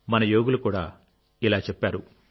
మన యోగులు కూడా ఇలా చెప్పారు